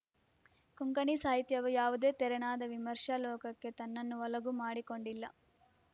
ಕೊಂಕಣಿ ಸಾಹಿತ್ಯವು ಯಾವುದೇ ತೆರನಾದ ವಿಮರ್ಶಾ ಲೋಕಕ್ಕೆ ತನ್ನನ್ನು ಒಳಗು ಮಾಡಿಕೊಂಡಿಲ್ಲ